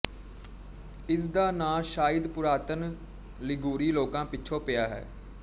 ਇਸ ਦਾ ਨਾਂ ਸ਼ਾਇਦ ਪੁਰਾਤਨ ਲਿਗੂਰੀ ਲੋਕਾਂ ਪਿੱਛੋਂ ਪਿਆ ਹੈ